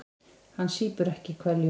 Hann sýpur ekki hveljur.